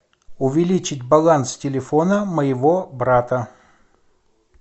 увеличить баланс телефона моего брата